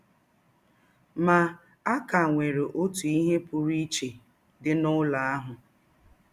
Ma, a ka nwere ọtụ ihe pụrụ iche dị n’ụlọ ahụ.